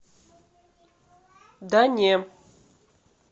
да не